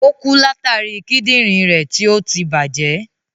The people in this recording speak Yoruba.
Ò kú látàri Kídìnrín rẹ̀ tí ọtí tí bàjẹ́.